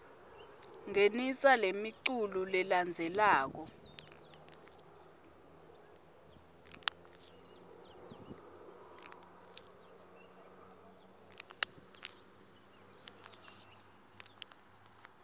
ngenisa lemiculu lelandzelako